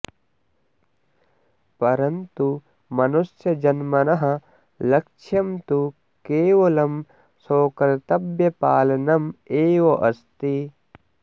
परन्तु मनुष्यजन्मनः लक्ष्यं तु केवलं स्वकर्तव्यपालनम् एव अस्ति